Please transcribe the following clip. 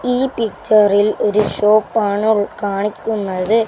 ഈ പിക്ചറിൽ ഒരു ഷോപ്പാണ് ഉൾ കാണിക്കുന്നത്.